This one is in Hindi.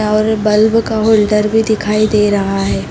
और बल्ब का होल्डर भी दिखाई दे रहा है।